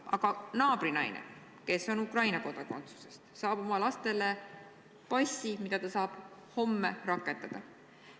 Aga naabrinaine, kes on Ukraina kodakondsusest, saab oma lastele passid, mida ta saab homme rakendada.